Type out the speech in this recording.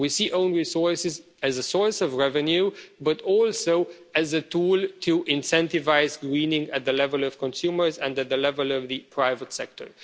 We see own resources as a source of revenue, but also as a tool to incentivise greening at the level of consumers and at the level of the private sector.